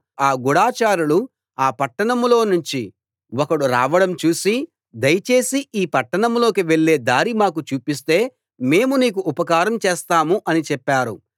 ఆ గూఢచారులు ఆ పట్టణంలోనుంచి ఒకడు రావడం చూసి దయచేసి ఈ పట్టణంలోకి వెళ్ళే దారి మాకు చూపిస్తే మేము నీకు ఉపకారం చేస్తాం అని చెప్పారు